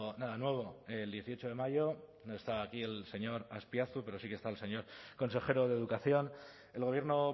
nada nuevo el dieciocho de mayo no está aquí el señor azpiazu pero sí que está el señor consejero de educación el gobierno